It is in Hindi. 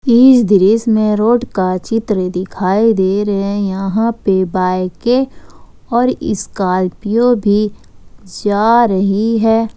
इस दृश्य में रोड का चित्र दिखाई दे रहे है यहां पे बाइके और इस्कॉर्पियो भी जा रही है।